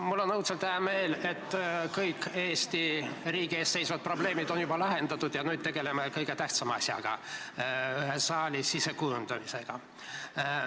Mul on õudselt hea meel, et kõik Eesti riigi ees seisvad probleemid on juba lahendatud ja nüüd tegeleme kõige tähtsama asjaga, ühe saali sisekujundusega.